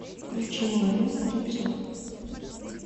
включи молодым кузнецов